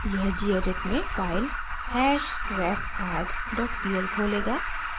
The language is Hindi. यह gedit में फाइल hashrefaddpl खोलेगा